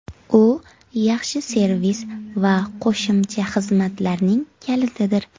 U yaxshi servis va qo‘shimcha xizmatlarning kalitidir.